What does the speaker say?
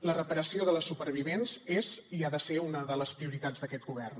la reparació de les supervivents és i ha de ser una de les prioritats d’aquest govern